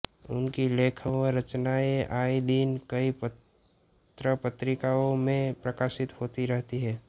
उनकी लेख व रचनाएं आए दिन कई पत्रपत्रिकाओं में प्रकाशित होती रहती है